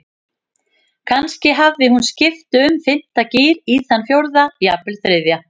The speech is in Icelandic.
Kannski hafði hún skipt úr fimmta gír í þann fjórða, jafnvel þriðja.